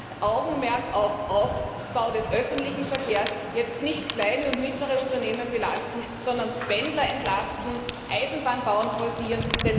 Das heißt Stärkeres Augenmerk auf den Aufbau des öffentlichen Verkehrs, jetzt nicht kleine und mittlere Unternehmen belasten, sondern Pendler entlasten, den Eisenbahnbau forcieren.